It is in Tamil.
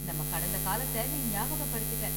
நம்ம கடந்த காலத்தை நீ ஞாபகபடுத்திட்டே.